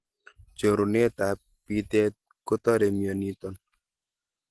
Chorunet ak bitet kotore mioniton